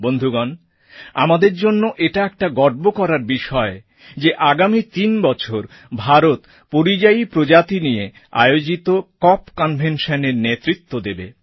বন্ধুগণ আমাদের জন্যে এটা একটা গর্ব করার বিষয় যে আগামী তিন বছর ভারত পরিযায়ী প্রজাতি নিয়ে আয়োজিত কপ কনভেনশনএর নেতৃত্ব দেবে